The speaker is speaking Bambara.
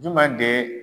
Juma de